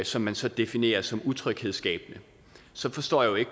som man så definerer som utryghedsskabende så forstår jeg